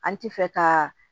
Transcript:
An ti fɛ ka